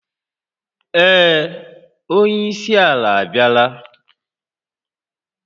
Ee, onye isi ala abịala